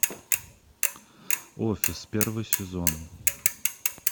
офис первый сезон